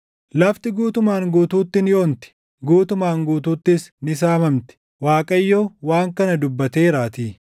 Lafti guutumaan guutuutti ni onti; guutumaan guutuuttis ni saamamti. Waaqayyo waan kana dubbateeraatii.